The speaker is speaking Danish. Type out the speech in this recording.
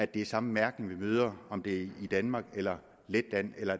den samme mærkning man møder om det i danmark eller letland eller